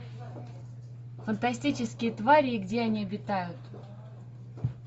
фантастические твари и где они обитают